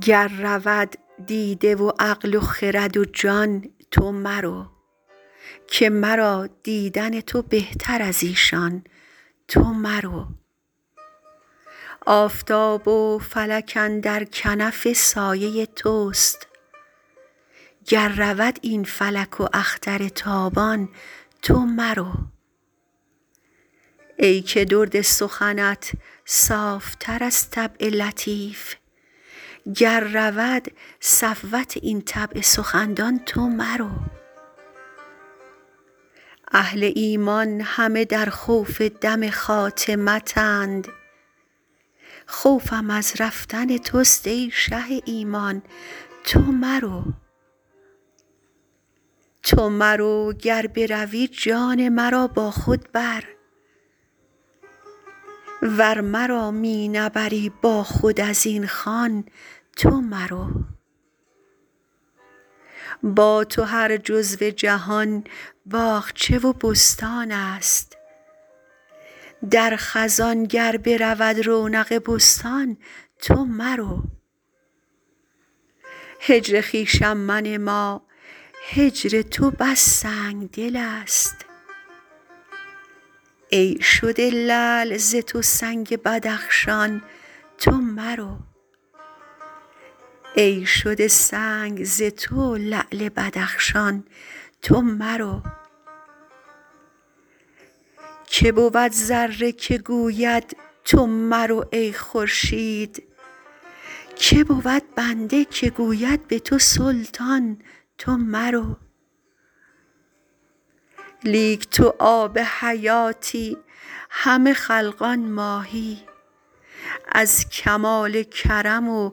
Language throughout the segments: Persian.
گر رود دیده و عقل و خرد و جان تو مرو که مرا دیدن تو بهتر از ایشان تو مرو آفتاب و فلک اندر کنف سایه توست گر رود این فلک و اختر تابان تو مرو ای که درد سخنت صاف تر از طبع لطیف گر رود صفوت این طبع سخندان تو مرو اهل ایمان همه در خوف دم خاتمتند خوفم از رفتن توست ای شه ایمان تو مرو تو مرو گر بروی جان مرا با خود بر ور مرا می نبری با خود از این خوان تو مرو با تو هر جزو جهان باغچه و بستان ست در خزان گر برود رونق بستان تو مرو هجر خویشم منما هجر تو بس سنگ دل ست ای شده لعل ز تو سنگ بدخشان تو مرو کی بود ذره که گوید تو مرو ای خورشید کی بود بنده که گوید به تو سلطان تو مرو لیک تو آب حیاتی همه خلقان ماهی از کمال کرم و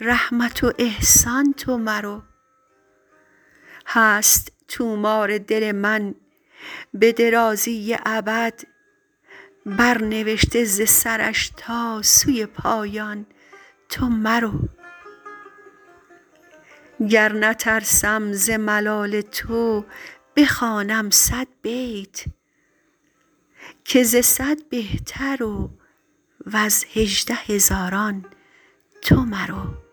رحمت و احسان تو مرو هست طومار دل من به درازی ابد برنوشته ز سرش تا سوی پایان تو مرو گر نترسم ز ملال تو بخوانم صد بیت که ز صد بهتر و ز هجده هزاران تو مرو